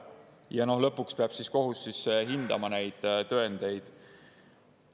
Ja lõpuks peab kohus hindama neid tõendeid.